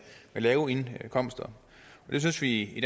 lave indkomster det synes vi i